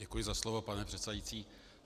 Děkuji za slovo, pane předsedající.